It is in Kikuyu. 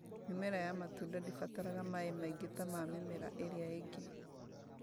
Mĩmera ya matunda ndĩbataraga maĩ maingĩ ta ma mĩmera ĩrĩa ĩngĩ